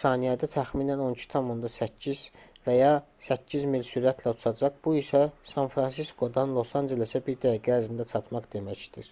saniyədə təxminən 12,8 km və ya 8 mil sürətlə uçacaq bu isə san-fransiskodan los-ancelesə bir dəqiqə ərzində çatmaq deməkdir